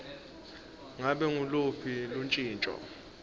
ngabe nguluphi luntjintjo